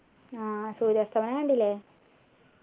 ആഹ് സൂര്യാസ്തമയം കണ്ടില്ലേ